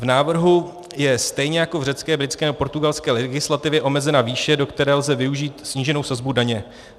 V návrhu je stejně jako v řecké, britské nebo portugalské legislativě omezena výše, do které lze využít sníženou sazbu daně.